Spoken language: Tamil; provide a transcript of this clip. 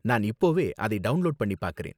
நான் இப்போவே அதை டவுண்லோடு பண்ணி பாக்கறேன்.